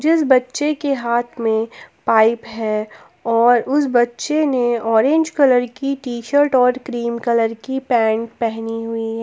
जिस बच्चे के हाथ में पाइप है और उस बच्चे ने ऑरेंज कलर की टी_शर्ट और क्रीम कलर की पैंट पहनी हुई है।